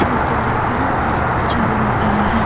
अच्छे से दिख रहे है और बहुत अच्छा भी लग रहा है।